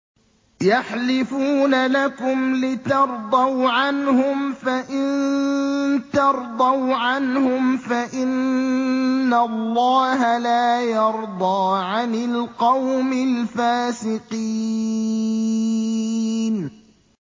يَحْلِفُونَ لَكُمْ لِتَرْضَوْا عَنْهُمْ ۖ فَإِن تَرْضَوْا عَنْهُمْ فَإِنَّ اللَّهَ لَا يَرْضَىٰ عَنِ الْقَوْمِ الْفَاسِقِينَ